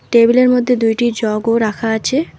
টেবিলের মধ্যে দুইটি জগও রাখা আছে।